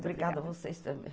Obrigada a vocês também.